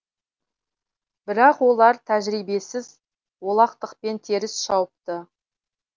бірақ олар тәжірибесіз олақтықпен теріс шауыпты